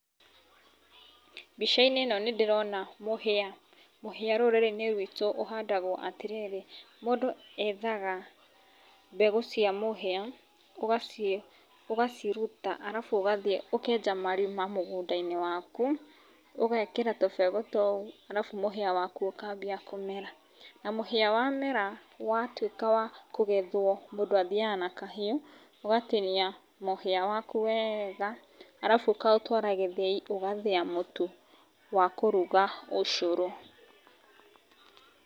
Mbica-inĩ ino nĩ ndĩrona mũhia, mũhia rũrĩrĩ-inĩ rwitũ ũhandagwo atĩrĩrĩ, mũndũ ethaga mbegũ cia mũhia ugaciĩ ugaciruta arabu ũgathiĩ ũkenja marima mũgũnda-inĩ waku ũgekĩra tũbegũ tũu arabu mũhia waku ũkambia kũmera na mũhia wamera watũĩka wa kugethwo, mũndũ athiaga na kahiũ ũgatinia mũhia waku weega arabu ũkaũtwara gĩthĩi ũgathĩa mũtu wa kũruga ũcũrũ